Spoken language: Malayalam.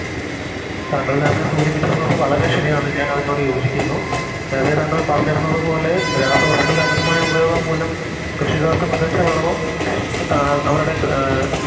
താങ്കൾ നേരത്തെ സൂചിപ്പിച്ചിരുന്നത് വളരെ ശരിയാണ് ഞാനതിനോട് യോചിക്കുന്നു നേരത്തെ താങ്കൾ പറഞ്ഞിരുന്നത് പോലെ രാസവസ്തുക്കളുടെ അമിത ഉപയോഗം മൂലം കൃഷിക്കാർക്ക് മികച്ച വിളവും താ അവരുടെ ക് അഹ്